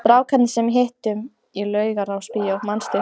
Strákarnir sem við hittum í Laugarásbíói, manstu?